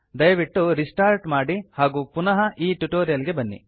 ದಯವಿಟ್ಟು ರಿಸ್ಟಾರ್ಟ್ ಮಾಡಿ ಹಾಗೂ ಪುನಃ ಈ ಟ್ಯುಟೋರಿಯಲ್ ಗೆ ಬನ್ನಿ